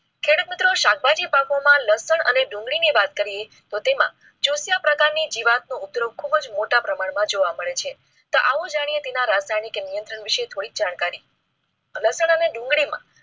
ખેડૂત મિત્રો શાકભાજી પાકો માં લસણ અને ડુંગળી ની વાત કરીએ તો તેમાં જોશી પ્રકાર ની જીવાત નો ઉપયોગ ખૂબ જ મોટા પ્રમાણ માં જોવા મળે છે. તો આવો જાણીએ તેના રાજધાની નિયંત્રણ વિશે થોડી જાણકારી. લસણ અને ડુંગળીમાં